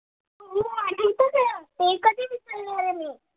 ते कधी? विसरली अरे मी.